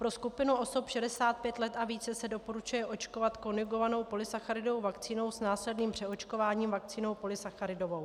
Pro skupinu osob 65 let a více se doporučuje očkovat konjugovanou polysacharidovou vakcínou s následným přeočkováním vakcínou polysacharidovou.